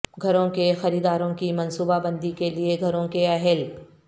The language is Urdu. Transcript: گھروں کے خریداروں کی منصوبہ بندی کے لئے گھروں کے اہل